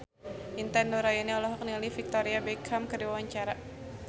Intan Nuraini olohok ningali Victoria Beckham keur diwawancara